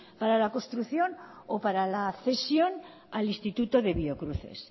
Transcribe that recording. para la construcción o para la cesión al instituto de biocruces